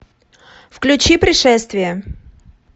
включи пришествие